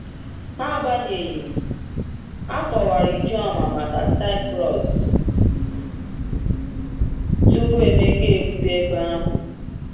Agbanyeghị, a kọwara Ijoma maka Cyprus tupu Emeka erute ebe ahụ.